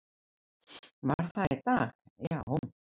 Var það í dag, já?